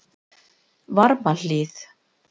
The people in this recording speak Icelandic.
Varmahlíð